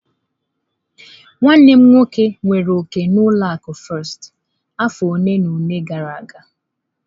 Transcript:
Nwanne m nwoke nwere òkè na ụlọ akụ firsti afọ ole na ole gara aga.